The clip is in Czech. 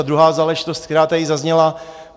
A druhá záležitost, která tady zazněla.